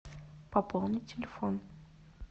пополнить телефон